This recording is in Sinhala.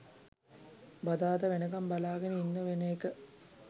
බදාදා වෙනකම් බලාගෙන ඉන්න වෙන එක